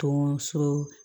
Tɔn so